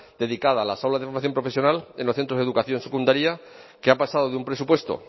dedicada a la sala de formación profesional en los centros de educación secundaria que ha pasado de un presupuesto